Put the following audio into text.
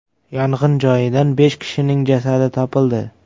Yong‘in joyidan besh kishining jasadi topildi.